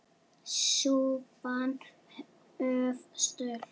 Súpan of sölt!